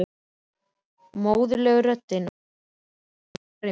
Móðurleg röddin var ákveðin, næstum grimm.